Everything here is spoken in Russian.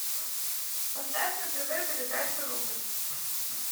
поставь на тв передачу рубль